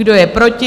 Kdo je proti?